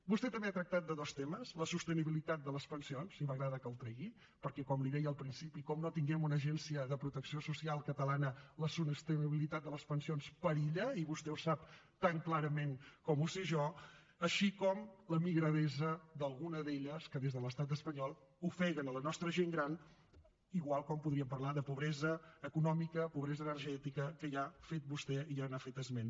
vostè també ha tractat dos temes la sostenibilitat de les pensions i m’agrada que el tregui perquè com li deia al principi com no tinguem una agència de protecció social catalana la sostenibilitat de les pensions perilla i vostè ho sap tan clarament com ho sé jo així com la migradesa d’alguna d’elles que des de l’estat espanyol ofeguen la nostra gent gran igual com podríem parlar de pobresa econòmica pobresa energètica que vostè ja n’ha fet esment